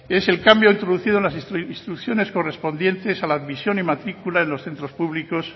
es el cambio introducido en las instituciones correspondientes a la admisión en matrícula de los centros públicos